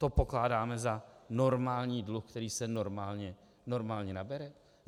To pokládáme za normální dluh, který se normálně nabere?